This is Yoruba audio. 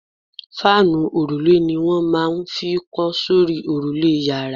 Fáànù òrùlé ni wọ́n máa n fi kọ́ sórí òrùlé yàrá